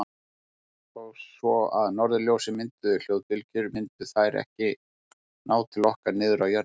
Þó svo að norðurljósin mynduðu hljóðbylgjur myndu þær ekki ná til okkar niður á jörðina.